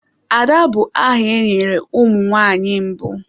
Ada bụ aha e nyere ụmụ nwanyị mbụ.